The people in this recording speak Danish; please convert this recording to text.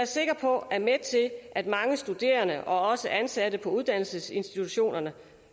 sikker på at mange studerende og også ansatte på uddannelsesinstitutionerne